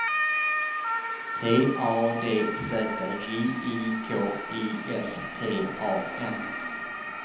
T A D Z J I K I S T A N